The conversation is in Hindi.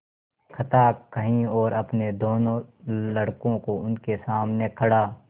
कथा कही और अपने दोनों लड़कों को उनके सामने खड़ा